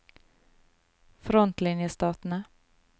frontlinjestatene